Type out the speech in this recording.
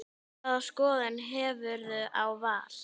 Hvaða skoðun hefurðu á Val?